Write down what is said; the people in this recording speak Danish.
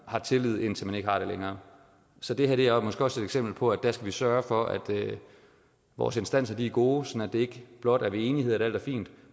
har tillid indtil man ikke har det længere så det her er måske også et eksempel på at der skal vi sørge for at vores instanser er gode så det ikke blot er ved enighed at alt er fint